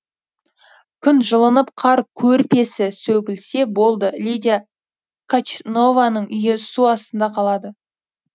күн жылынып қар көрпесі сөгілсе болды лидия качнованың үйі су астында қалады